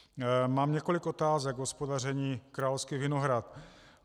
Mám několik otázek k hospodaření Královských Vinohrad.